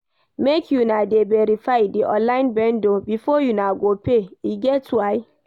Make una dey verify di online vendor before una go pay, e get why.